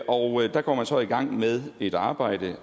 og der går man så i gang med et arbejde